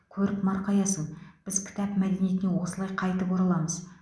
көріп марқаясың біз кітап мәдениетіне осылай қайтып ораламыз